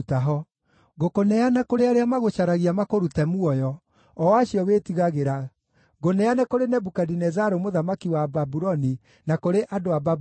Ngũkũneana kũrĩ arĩa magũcaragia makũrute muoyo, o acio wĩtigagĩra, ngũneane kũrĩ Nebukadinezaru, mũthamaki wa Babuloni na kũrĩ andũ a Babuloni.